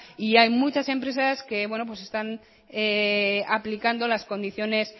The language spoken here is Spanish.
y hay muchas empresas que están aplicando las condiciones